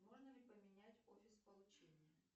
можно ли поменять офис получения